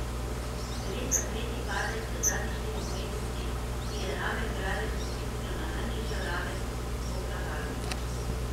Gre za tretji padec v zadnjih štirih mesecih, ki je raven gradenj potisnil na najnižjo raven od oktobra lani.